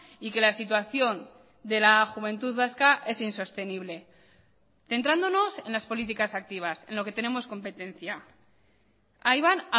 y que la situación de la juventud vasca es insostenible centrándonos en las políticas activas en lo que tenemos competencia ahí van